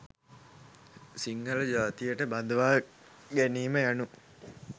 සිංහල ජාතියට බඳවා ගැනීම යනු